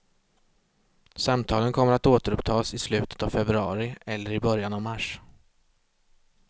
Samtalen kommer att återupptas i slutet av februari eller i början av mars.